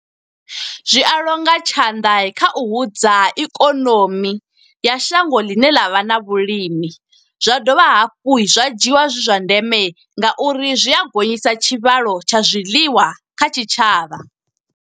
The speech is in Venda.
Zwi a longa tshanḓa kha u hudza ikonomi, ya shango ḽine ḽa vha na vhulimi. Zwa dovha hafhu zwa dzhiiwa zwi zwa ndeme, nga uri zwi a gonyisa tshivhalo tsha zwiḽiwa kha tshitshavha.